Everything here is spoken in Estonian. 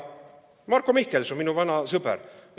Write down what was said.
Marko Mihkelson, minu vana sõber!